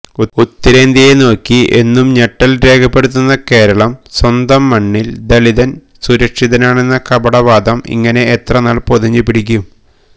ഉത്തരേന്ത്യയെ നോക്കി എന്നും ഞെട്ടല് രേഖപ്പെടുത്തുന്ന കേരളം സ്വന്തം മണ്ണില് ദളിതന് സുരക്ഷിതനാണെന്ന കപടവാദം ഇങ്ങനെ എത്രനാള് പൊതിഞ്ഞുപിടിക്കും